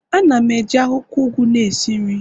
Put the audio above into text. Ana m eji akwukwo ugu na esi nri